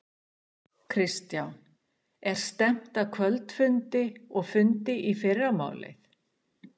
Kristján: Er stefnt að kvöldfundi og fundi í fyrramálið?